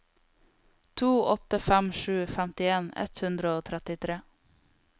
to åtte fem sju femtien ett hundre og trettitre